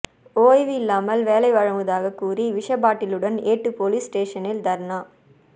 ஓய்வு இல்லாமல் வேலை வழங்குவதாக கூறி விஷ பாட்டிலுடன் ஏட்டு போலீஸ் ஸ்டேசனில் தர்ணா